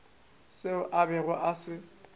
seo a bego a se